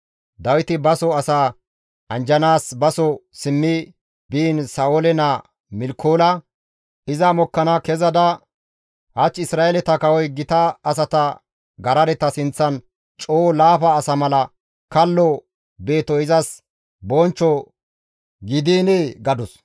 Dawiti baso asaa anjjanaas baso simmi biin Sa7oole naa Milkoola iza mokkana kezada, «Hach Isra7eeleta kawoy gita asata garadeta sinththan coo laafa asa mala kallo beetoy izas bonchcho gidiinee?» gadus.